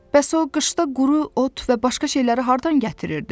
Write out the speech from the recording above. Bəs o qışda quru ot və başqa şeyləri hardan gətirirdi?